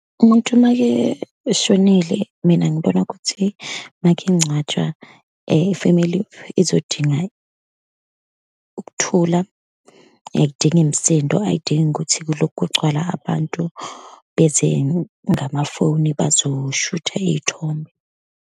Umuntu uma-ke eshonile, mina ngibona ukuthi, uma-ke engcwatshwa, i-family izodinga ukuthula, ayidingi misindo, ayidingi ukuthi kulokhu kugcwala abantu beze ngamafoni, bazoshutha iy'thombe.